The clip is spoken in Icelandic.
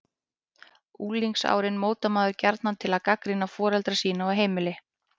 Unglingsárin notar maður gjarnan til að gagnrýna foreldra sína og heimili.